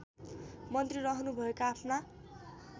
मन्त्री रहनुभएका आफ्ना